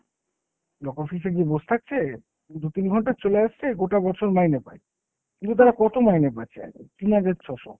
block office এ গিয়ে বোস থাকছে দু'তিন ঘন্টা, চলে আসছে, গোটা বছর মাইনে পায়। কিন্তু তারা কত মাইনে পাচ্ছে? তিন হাজার ছ'শো।